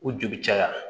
U joli caya